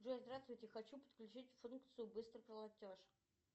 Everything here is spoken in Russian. джой здравствуйте хочу подключить функцию быстрый платеж